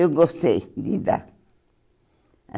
Eu gostei de dar.